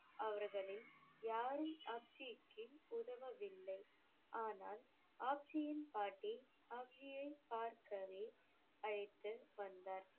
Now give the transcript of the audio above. அவர்களில் யாரும் உதவவில்லை, ஆனால் பாட்டி பார்க்கவே அழைத்து வந்தார்.